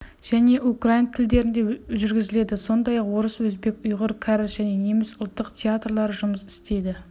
және украин тілдерінде жүргізіледі сондай-ақ орыс өзбек ұйғыр кәріс және неміс ұлттық театрлары жұмыс істейді